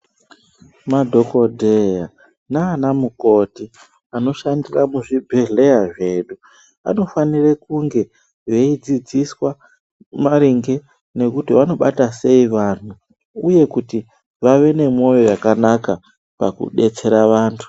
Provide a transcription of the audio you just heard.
Ma dhokodheya nana mukoti ano shandira mu zvibhedhleya zvedu ano fanire kunge eyi dzidziswa maringe nekuti vanobata sei vanhu uye kuti vave ne moyo wakanaka paku detsera vantu.